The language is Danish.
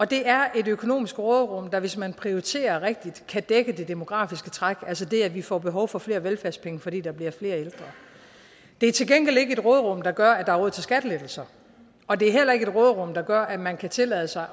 det er et økonomisk råderum som hvis man prioriterer rigtigt kan dække det demografiske træk altså det at vi får behov for flere velfærdspenge fordi der bliver flere ældre det er til gengæld ikke et råderum der gør at der er råd til skattelettelser og det er heller ikke et råderum der gør at man kan tillade sig